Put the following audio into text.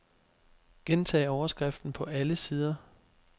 Gentag overskriften på alle sider.